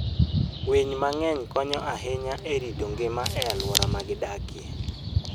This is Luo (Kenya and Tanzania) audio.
Winy mang'eny konyo ahinya e rito ngima e alwora ma gidakie.